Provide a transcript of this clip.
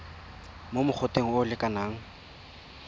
mo mogoteng o o lekanang